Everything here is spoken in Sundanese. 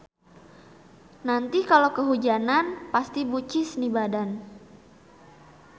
Nanti kalo kehujanan pasti bucis nih badan.